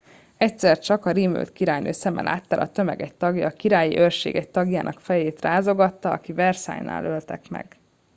egyszer csak a rémült királynő szeme láttára a tömeg egy tagja a királyi őrség egy tagjának fejét rázogatta akit versailles nál öltek meg